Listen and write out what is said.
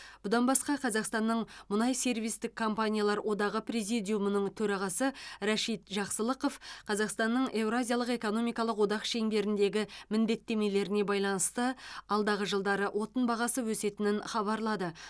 бұдан басқа қазақстанның мұнай сервистік компаниялар одағы президумының төрағасы рашид жақсылықов қазақстанның еуразиялық экономикалық одақ шеңберіндегі міндеттемелеріне байланысты алдағы жылдары отын бағасы өсетінін хабарлады